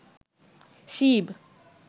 Shiva